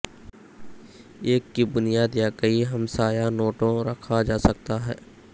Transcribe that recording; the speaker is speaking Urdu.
ایک کی بنیاد یا کئی ہمسایہ نوٹوں رکھا جاسکتا ہے